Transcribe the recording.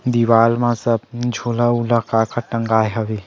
दीवाल मा सब झोला उला का-का टंगाय हवे।